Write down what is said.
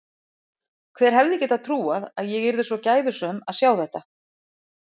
Hver hefði getað trúað að ég yrði svo gæfusöm að sjá þetta.